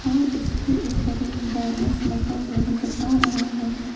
और इसके ऊपर एक बैनर्स लगा हुआ नजर आ रहा है।